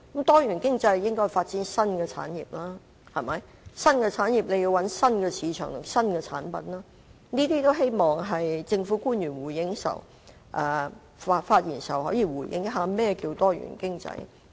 多元經濟應該發展新產業，要發展新產業，便要尋找新市場和新產品，我希望政府官員稍後發言時可以回應一下何謂"多元經濟"。